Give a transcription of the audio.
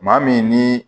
Maa min ni